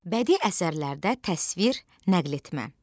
Bədii əsərlərdə təsvir, nəql etmə.